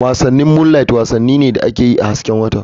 Wasannin Moonliht wasanni ne da ake yi a hasken wata/